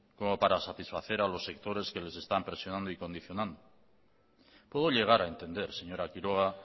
como para satisfacer a los sectores que les están presionando y condicionando puedo llegar a entender señora quiroga